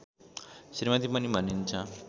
श्रीमती पनि भनिन्छ